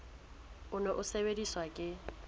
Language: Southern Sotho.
o ne o sebediswa ke